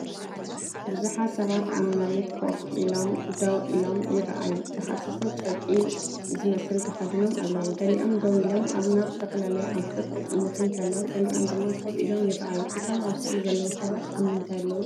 ብዙሓት ሰባት ኣብ መሬት ኮፍ ኢሎም ደው ኢሎም ይረኣዩ። ዝሃሰሰ ጨርቂ ዝመስል ተኸዲኖም ኣለዉ። ገሊኦም ደው ኢሎም ናብ ዝተፈላለየ ኣንፈት ክጥምቱ እንከለዉ፡ ገሊኦም ድማ ኮፍ ኢሎም ይረኣዩ። እቶም ኣብ ስእሊ ዘለዉ ሰባት ኣብ ምንታይ ኣለዉ ትብሉ?